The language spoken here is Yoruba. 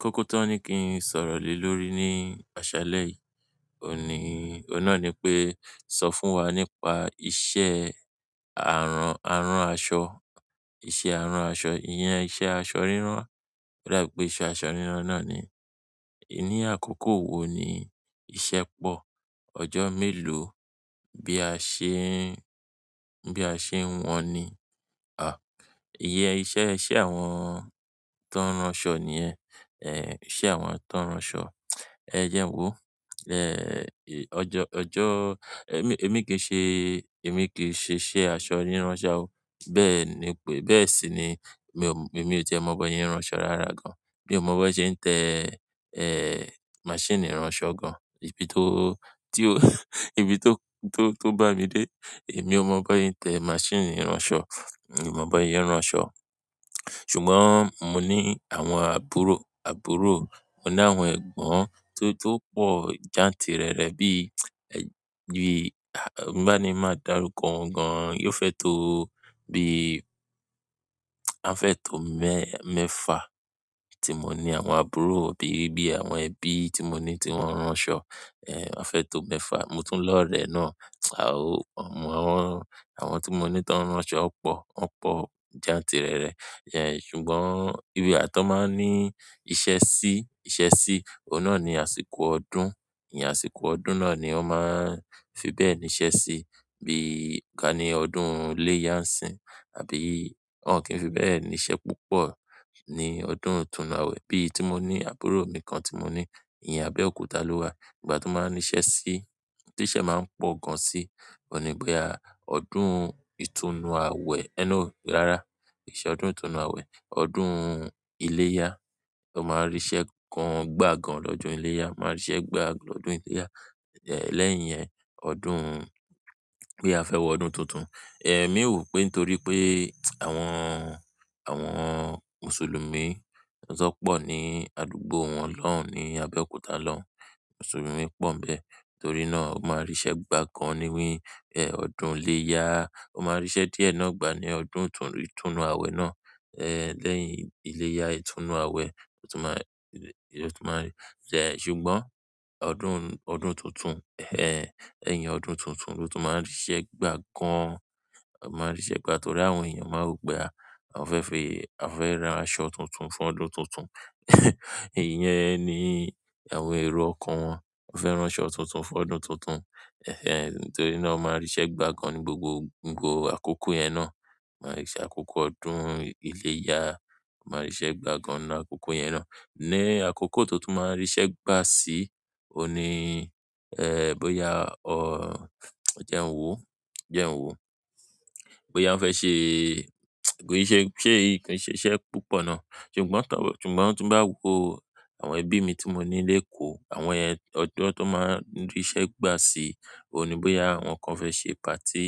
Kọ́kọ́ tọ́ ní kí n sọ̀rọ̀ lè lórí ní aṣalẹ yìí, òun na ní pé sọ fún wa nípa iṣẹ́ àrán, a rán aṣọ, iṣẹ́ àrán aṣọ, ìyẹn iṣẹ́ aṣọ rírán, o dá pé ìṣe aṣọ rírán náà ni. Ní àkọ́kọ́ wo ni ìṣe pọ ọjọ́ mélòó bí a ṣe n. Bí a ṣe wọn ní? Ìyẹ́n iṣẹ́ iṣe àwọn tó n rán aṣọ nìyẹn, iṣẹ́ àwọn tó rán aṣọ. Ẹ̀ jẹ nwo, ọjọ́, ọjọ́, ẹmí, ẹmí kì í ṣe, ẹmí kì í ṣe iṣẹ́ aṣọ rírán ṣá o. Bẹ́ẹ̀ ni pé, bẹ́ẹ̀ sì ni mi ò, mi ò ti e mọ́ bi wọn se rán aṣọ rárá gan. Mi ò mọ̀ bó ṣe ń tẹ́, máṣíìnì irán ṣọ gan, ìbí tó, tí ó, ìbí tó, tó, tó bá mi dé, èmi ò mọ̀ bó ṣe ń tẹ́ máṣíìnì irán ṣọ. Mi ò mọ̀ bó se n rán ṣọ. Ṣùgbọ́n mo ní àwọn àbúrò, àbúrò, mo ní àwọn ẹ̀gbọ́n tó, tó pọ̀ jantìrẹrẹ bí, bí, bá ní máa darúkọ wọn gan-an, yóò fẹ́ tó bí, a fẹ́ tó mẹ́, mẹ́fa tí mo ní àwọn àbúrò bí, bí àwọn ẹbí tí mo ní tí wọ́n rán aṣọ, a fẹ́ tó mẹ́fa. Mo tún lọ̀rẹ́ náà, àwọn, àwọn tí mo ní tó rán aṣọ pọ̀, wọ́n pọ̀ jantìrẹrẹ. Ehen, ṣùgbọ́n ìbi à tọ́ n máa ń ní ìṣẹ́ sí i, ìṣẹ́ sí i, oun nà ni àsìkò ọdún, ìyẹn àsìkọ́ ọdún náà ni wọ́n máa ń fi bẹ́ẹ̀ níṣẹ́ sí i. Bí i ká ní ọdún iléyá ń sìn àbí wọn kí n fi bẹ́ẹ̀ níṣẹ́ púpọ̀ ní ọdún ìtúnnu àwẹ̀. Bí i tí mo ní àbúrò mi kan tí mo ní ìyẹn Abẹ́òkúta ló wà. Ìgbà tí mo máa ń níṣẹ́ sí i, tí iṣẹ́ máa ń pọ̀ gan sí i, òní bóyá ọdún ìtúnnu àwẹ̀ ẹ́n no, rárá, kì n ṣẹ ọdún ìtúnnu àwẹ̀, ọdún iléyá, ó máa ń ríṣẹ́ gan gbà gan lọ́jọ́ iléyá, máa ń ríṣẹ́ gbà lọ́jọ́ iléyá. Ehh, lẹ́yìn yẹn, ọdún, bí a fẹ́ wọ ọdún tuntun. Ehh, èmi wò pé torí pé àwọn, àwọn Mùsùlùmí ló ṣọ́ pọ̀ ní àdúgbò wọn lọ́hun ní Abẹ́òkúta lọ́hun. Mùsùlùmí pọ̀ ń bẹ, torí náà ó máa ń ríṣẹ́ gbà gan níí, ehh, ọdún iléyá. O ma n ri iṣẹ́ díẹ̀ náà gba ni ọdún itunnu awe náà, lẹ́yìn ileya, itunnu awe. Ṣùgbọ́n, ọdún tuntun, lẹ́yìn ọdún tuntun, lo tun ma rise gba gan an. Ó máa ń ríṣẹ́ gbà torí àwọn èèyàn máa rò pé a, a fẹ́ fi, a fẹ́ ra aṣọ tuntun fún ọdún tuntun. Ìyẹn ni àwọn èrò ọkàn wọn, wọ́n fẹ́ rán aṣọ tuntun fún ọdún tuntun. Ehen, torí náà ó máa ń ríṣẹ́ gbà gan ní gbogbo, gbogbo àkókò yẹn náà. Ó máa ń ríṣẹ́ àkókò ọdún iléyá, ó máa ń ríṣẹ́ gbà gan ní àkókò yẹn náà. Ni àkókò to tun máa ń ríṣẹ́ gbà sí i, òun ní, ehh, bóyá o, jẹ un wo, jẹ un wo, bóyá ń fẹ́ ṣe, kò ì ṣe, ṣe ì, kò ṣe iṣẹ́ púpọ̀ náà. Ṣùgbọ́n tọ́, ṣùgbọ́n, ti n bá woó àwọn ẹbí mi tí mo ní léèkó, àwọn yẹn, ọjọ́ tó máa ń ríṣẹ́ gbà sí i, òun ní bóyá àwọn kan fẹ́ ṣe party,